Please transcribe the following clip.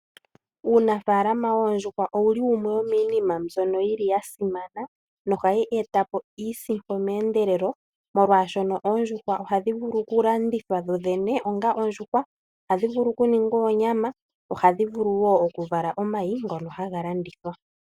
Uunafalama woondjuhwa owuli wumwe wo miinima mbyoka ya simana, no hayi etapo iisimpo me endelelo molwaashoka oondjuhwa ohadhi vulu oku landithwa dho dhene onga ondjuhwa. Ohadhi vulu oku ningwa oonyama, ohadhi vulu oku vulu oka vala omayi ngono haga landithwa.